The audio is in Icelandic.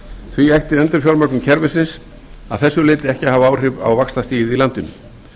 því ætti endurfjármögnun kerfisins ekki að þessu leyti að hafa áhrif á vaxtastigið í landinu